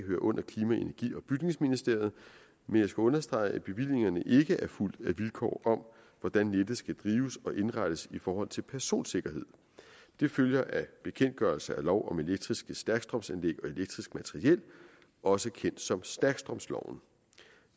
hører under klima energi og bygningsministeriet men jeg skal understrege at bevillingerne ikke er fulgt af vilkår om hvordan nettet skal drives og indrettes i forhold til personsikkerhed det følger af bekendtgørelse af lov om elektriske stærkstrømsanlæg og elektrisk materiel også kendt som stærkstrømsloven